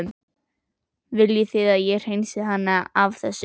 Viljið þið að ég hreinsið hana af þessu?